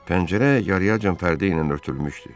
Pəncərə yarıyacan pərdə ilə örtülmüşdü.